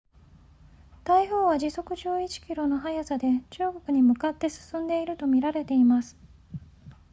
台風は時速11 km の速さで中国に向かって進んでいると見られています